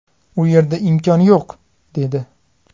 U yerda imkon yo‘q”, dedi.